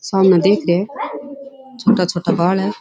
सामने देख रिया है छोटा छोटा बाल है।